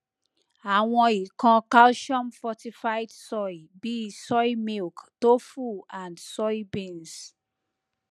awon ikan calciumfortified soy bi soy milk tofu and soybeans